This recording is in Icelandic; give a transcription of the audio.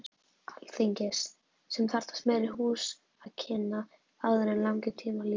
Alþingis, sem þarfnast meiri húsakynna, áður langir tímar líða.